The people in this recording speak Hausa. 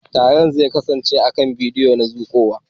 Taron zai kasance akan kiran bidiyo na zuƙowa.